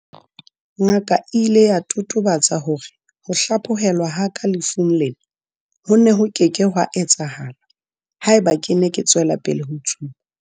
Ngaka e ile ya totobatsa hore ho hlaphohelwa ha ka lefung lena ho ne ho ke ke hwa etsahala haeba ke ne ke tswela pele ho tsuba.